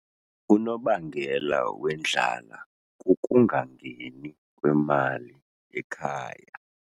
Unobangela wendlala kukungangeni kwemali ekhaya.